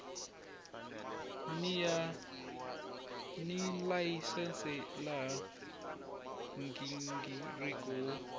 ni layisense laha nghingiriko wo